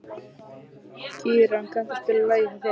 Kíran, kanntu að spila lagið „Hjá þér“?